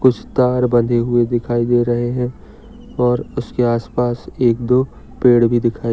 कुछ तार बंधे हुई दिखाई दे रहे है। और उसके आस पास एक दो पेड़ भी दिखाई--